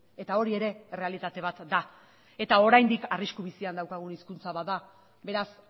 eta hori ere errealitate bat da eta oraindik arrisku bizian daukagun hizkuntza bat da beraz